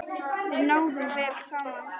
Við náðum vel saman.